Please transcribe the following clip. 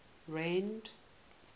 rand